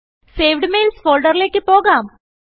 saved Mailsഫോൾഡറിൽ പോകാം